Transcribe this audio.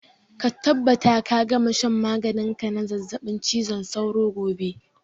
Ka tabbata ka gama shan maganin ka na zazzaɓin cizon sauro gobe!